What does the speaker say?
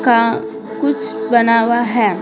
का कुछ बना हुआ है ।